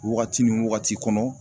Wagati ni wagati kɔnɔ